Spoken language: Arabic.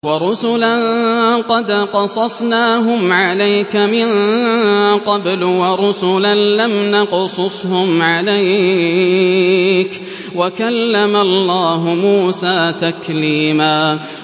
وَرُسُلًا قَدْ قَصَصْنَاهُمْ عَلَيْكَ مِن قَبْلُ وَرُسُلًا لَّمْ نَقْصُصْهُمْ عَلَيْكَ ۚ وَكَلَّمَ اللَّهُ مُوسَىٰ تَكْلِيمًا